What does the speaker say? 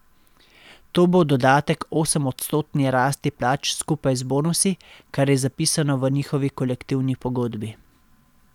To bo dodatek osemodstotni rasti plač skupaj z bonusi, kar je zapisano v njihovi kolektivni pogodbi.